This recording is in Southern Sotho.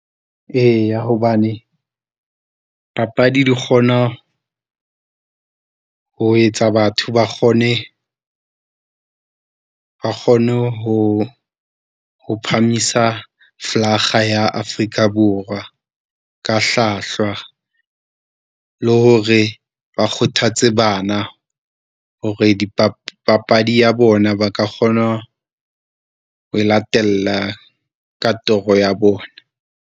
Eya hobane papadi di kgona ho etsa batho ba kgone, ba kgone ho, ho phahamisa flaga ya Africa Borwa ka hlwahlwa, le hore ba kgothatse bana hore papadi ya bona ba ka kgona ho e latella ka toro ya bona.